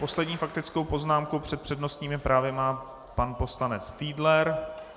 Poslední faktickou poznámku před přednostními právy má pan poslanec Fiedler.